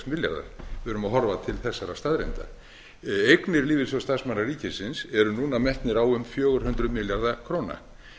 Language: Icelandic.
við verðum að horfa til þessara staðreynda eignir lífeyrissjóðs starfsmanna ríkisins eru núna metnar á um fjögur hundruð milljarða króna